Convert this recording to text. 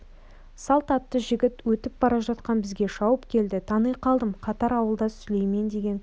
салт атты жігіт өтіп бара жатқан бізге шауып келді тани қалдым қатар ауылдас сүлеймен деген кісінің